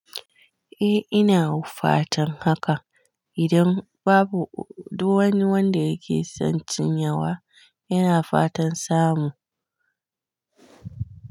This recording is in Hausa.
Eh ina fatan haka. Idan babu duk wani wanda yake son cin yawa, yana fatan samu.